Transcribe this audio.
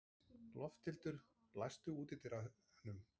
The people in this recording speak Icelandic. Lofthildur, læstu útidyrunum.